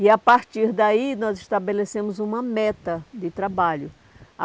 E, a partir daí, nós estabelecemos uma meta de trabalho.